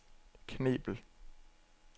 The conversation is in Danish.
Knebel